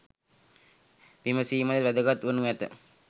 විමසීමද වැදගත් වනු ඇත.